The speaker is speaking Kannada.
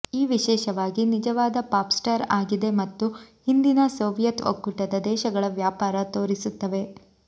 ಈ ವಿಶೇಷವಾಗಿ ನಿಜವಾದ ಪಾಪ್ ಸ್ಟಾರ್ ಆಗಿದೆ ಮತ್ತು ಹಿಂದಿನ ಸೋವಿಯತ್ ಒಕ್ಕೂಟದ ದೇಶಗಳ ವ್ಯಾಪಾರ ತೋರಿಸುತ್ತವೆ